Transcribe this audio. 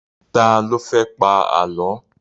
Ta ló fẹ́ pa Àlọ́?